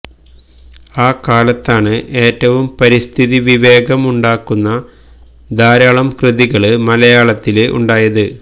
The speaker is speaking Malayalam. ആ കാലത്താണ് ഏറ്റവും പരിസ്ഥിതി വിവേകം ഉണ്ടാക്കുന്ന ധാരാളം കൃതികള് മലയാളത്തില് ഉണ്ടായത്